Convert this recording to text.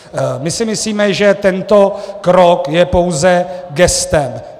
My si myslíme, že tento krok je pouze gestem.